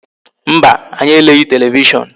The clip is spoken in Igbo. Mba, anyi eleghị televishon